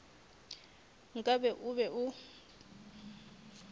nka be o be o